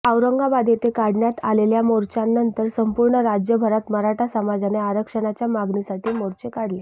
औरंगाबाद येथे काढण्यात आलेल्या मोर्चानंतर संपूर्ण राज्यभरात मराठा समाजाने आरक्षणाच्या मागणीसाठी मोर्चे काढले